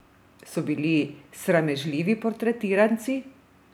So bili sramežljivi portretiranci?